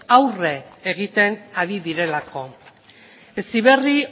aurre egiten ari direlako heziberri